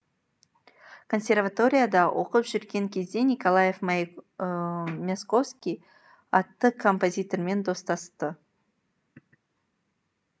консерваторияда оқып жүрген кезде николай мясковский атты композитормен достасты